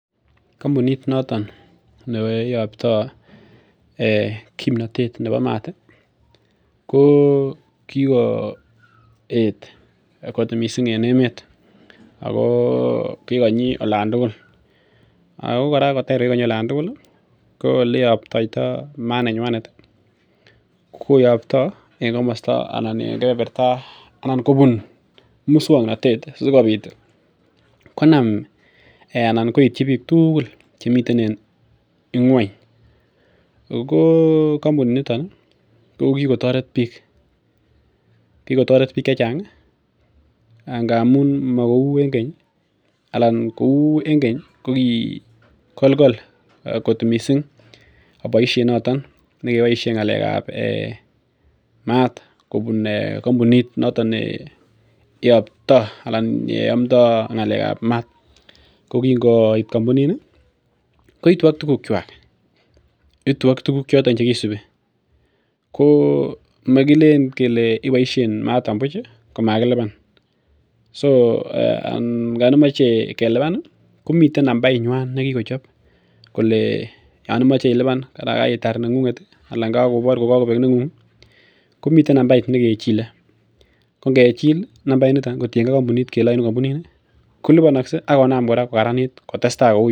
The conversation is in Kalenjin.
Kampunit noto neiabta kimnatet nebo maat ih , ko kikoet kot missing en emeet, ago kikonyi olaan tugul, ko oleabtaito maat nenywanet ih koyabto en kebeberta anan kobun muksuanatet sikobit konam anan koityi bik tugul chemiten en inguany. Ogo kampunit niton ih kokikotoret bik, kokotaret bik chechang ngamuun kouu en keny ih koki kolkol kot missing boisiet noton nekeboisien ng'alekab mat kobun kampunit noton neiabta anan amtaa ng'alekab maat ko Kingoit kampunit ni koitu ak tugun kuak, itu ak tuguk choton chekisubiko magileen kele ibaishen maaton buch komakiluban Yoon komache kelubani ih komiten nambait nyuan negikochob kole yaan imache iluban , Mara karitar neng'unget anan kakobor kogakobek neng'ung ih komiten nambait nekechile ko ngechil ih mambait nito kotienge kampunit kole kolinanakse akonam kokaranit kotesetai.